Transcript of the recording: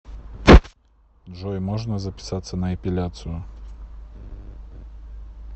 джой можно записаться на эпиляцию